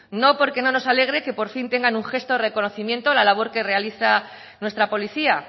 no porque no nos alegre que por fin tengan un gesto de reconocimiento a la labor que realiza nuestra policía